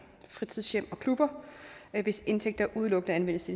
fritidshjem og klubber hvis indtægter udelukkende anvendes